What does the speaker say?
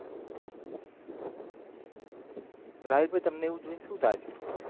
રાહિલ ભાઈ તમને એવું જોઈન શુ લાગ્યો